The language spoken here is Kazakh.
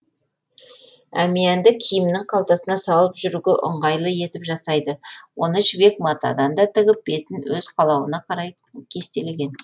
әмиянды киімнің қалтасына салып жүруге ыңғайлы етіп жасайды оны жібек матадан да тігіп бетін өз қалауына қарай кестелеген